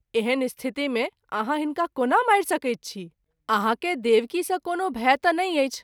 एहन स्थिति मे आहाँ हिनका कोना मारि सकैत छी ? आहाँ के देवकी सँ कोनो भय त’ नहिं अछि।